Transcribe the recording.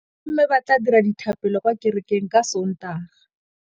Bommê ba tla dira dithapêlô kwa kerekeng ka Sontaga.